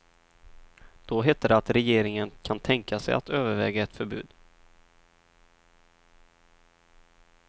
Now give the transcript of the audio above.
Då hette det att regeringen kan tänka sig att överväga ett förbud.